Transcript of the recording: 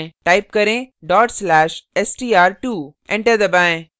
type करें dot slash/str2 enter दबाएँ